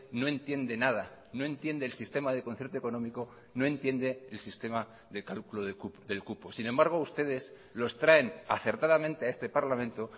no entiende nada no entiende el sistema de concierto económico no entiende el sistema de cálculo del cupo sin embargo ustedes los traen acertadamente a este parlamento